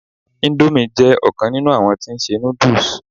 Indomie jé òkan nínú àwọn tí n se noodles